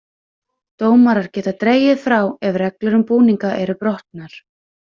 Dómarar geta dregið frá ef reglur um búninga eru brotnar.